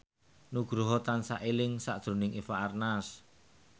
Nugroho tansah eling sakjroning Eva Arnaz